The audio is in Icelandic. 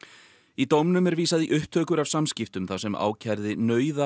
í dómnum er vísað í upptökur af samskiptum þar sem ákærði